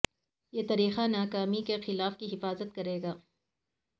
یہ طریقہ ناکامی کے خلاف کی حفاظت کرے گا